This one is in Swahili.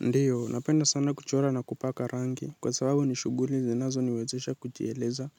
Ndiyo napenda sana kuchora na kupaka rangi kwa sababu ni shughuli zinazo niwezesha kujieleza